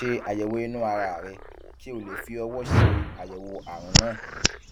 ṣe àyẹwò inú ara rẹ kí o lè fi ọwọ ṣe àyẹwò àrùn náà